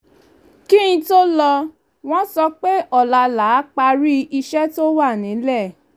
kí n tó lọ wọ́n sọ pé ọ̀la là á parí iṣẹ́ to wà nílẹ̀